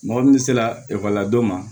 Mɔgɔ min sera ekɔlila don ma